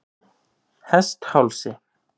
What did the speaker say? Hesthálsi